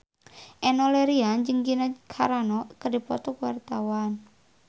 Enno Lerian jeung Gina Carano keur dipoto ku wartawan